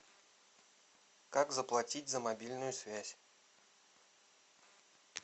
как заплатить за мобильную связь